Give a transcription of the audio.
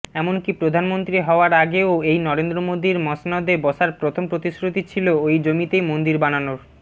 এমনকি প্রধানমন্ত্রী হওয়ার আগেও এই নরেন্দ্রমোদীর মসনদে বসার প্রথম প্রতিশ্রুতি ছিলো ওই জমিতেই মন্দির বানানোর